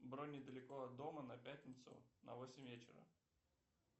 бронь недалеко от дома на пятницу на восемь вечера